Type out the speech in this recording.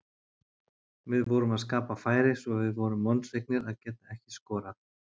Við vorum að skapa færi svo við vorum vonsviknir að geta ekki skorað.